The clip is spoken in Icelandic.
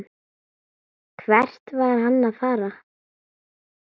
Hvert var hann að fara?